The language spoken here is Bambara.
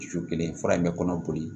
Su kelen fura in bɛ kɔnɔ boli